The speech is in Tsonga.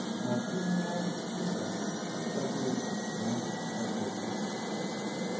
matino ya tirha ku ncakunya swakudya